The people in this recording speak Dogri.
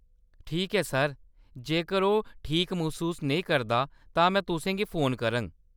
ठीक ऐ सर, जेकर ओह्‌‌ ठीक मसूस नेईं करदा, तां में तुसें गी फोन करङ।